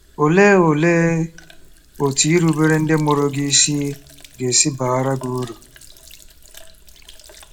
Olee Olee otú irubere ndị mụrụ gị isi ga-esi baara gị uru?